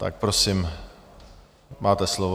Tak prosím, máte slovo.